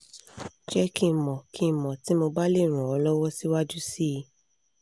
je ki n mo ki n mo ti mo ba le ran o lowo siwaju si i